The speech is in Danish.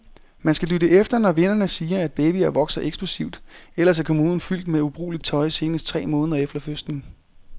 Man skal lytte efter, når vennerne siger, at babyer vokser eksplosivt, ellers er kommoden fyldt med ubrugeligt tøj senest tre måneder efter fødslen.